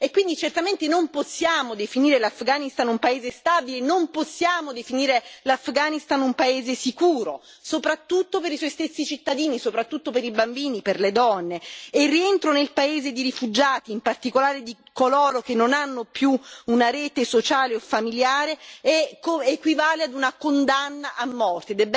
E quindi certamente non possiamo definire l'Afghanistan un paese stabile, non possiamo definire l'Afghanistan un paese sicuro, soprattutto per i suoi stessi cittadini, soprattutto per i bambini, per le donne, e il rientro nel paese di rifugiati, in particolare di coloro che non hanno più una rete sociale o familiare, equivale ad una condanna a morte.